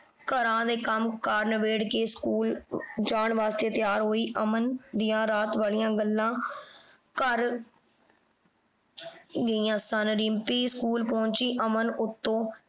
ਘਰਾਂ ਦੇ ਕੰਮ ਕਾਰ ਨਬੇੜ ਕੇ ਸਕੂਲ ਜਾਣ ਵਾਸਤੇ ਤਿਆਰ ਹੋਈ। ਅਮਨ ਦੀਆਂ ਰਾਤ ਵਾਲੀਆਂ ਗੱਲਾਂ ਘਰ ਗਈਆਂ ਸਨ। ਰਿੰਪੀ ਸਕੂਲ ਪਹੁੰਚੀ। ਅਮਨ ਉੱਤੋਂ